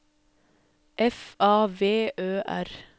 F A V Ø R